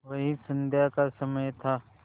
वही संध्या का समय था